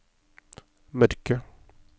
mørke